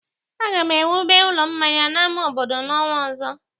Aga m ewube ụlọ mmanya n'ama obodo n'ọnwa ọzọ.